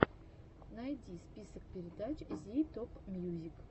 найди список передач зи топмьюзик